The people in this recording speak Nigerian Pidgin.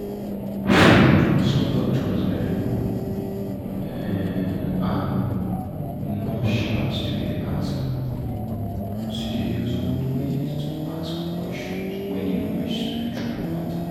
hmm some doctors en um and nurse um still dey use old way ask question when e reach spiritual matter.